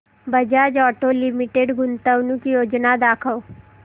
Bajaj Auto Limited गुंतवणूक योजना दाखव